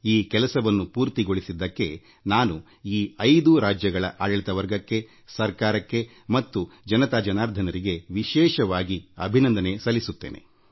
ಈ ಕಾರ್ಯ ಸಾಧನೆಗಾಗಿ ನಾನು ಈ ಐದೂ ರಾಜ್ಯಗಳ ಆಡಳಿತಕ್ಕೆ ಸರ್ಕಾರಕ್ಕೆ ಮತ್ತು ಜನತಾ ಜನಾರ್ದನರಿಗೆ ವಿಶೇಷವಾಗಿ ನನ್ನ ಕೃತಜ್ಞತೆ ಸಲ್ಲಿಸುತ್ತೇನೆ